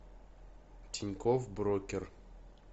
тинькофф брокер